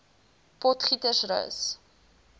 potgietersrus